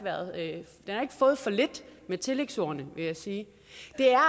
fået for lidt med tillægsordene vil jeg sige